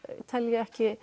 tel ég ekki